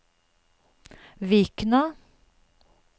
Vikna